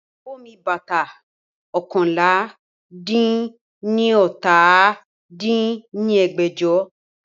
Iyawo mi bata oókànlá-dín-ní-ọ́ta dín ní ẹgbẹ́jọ